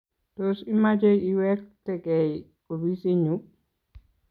Tos imache iwektenkey opisinyu?